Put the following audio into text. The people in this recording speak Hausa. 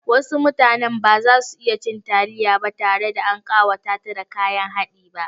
Wasu mutanen ba za su iya cin taliya ba tare da an ƙawata ta da kayan haɗi ba.